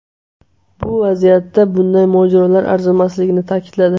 Bu vaziyatda bunday mojarolar arzimasligini ta’kidladi.